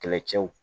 Kɛlɛcɛw